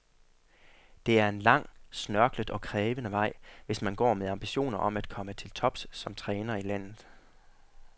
Det er en lang, snørklet og krævende vej, hvis man går med ambitioner om at komme til tops som træner i landet.